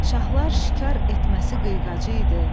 Şahlar şikar etməsi qıyğacı idi.